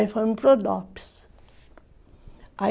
Aí foi fomos para o dopis